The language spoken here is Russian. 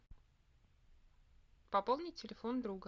пополнить телефон друга